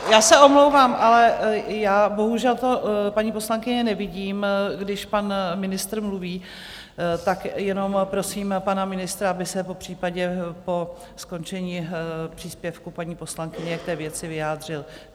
Já se omlouvám, ale já bohužel to, paní poslankyně, nevidím, když pan ministr mluví, tak jenom prosím pana ministra, aby se popřípadě po skončení příspěvku paní poslankyně k té věci vyjádřil.